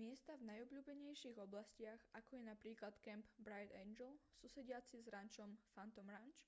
miesta v najobľúbenejších oblastiach ako je napríklad kemp bright angel susediaci s rančom phantom ranch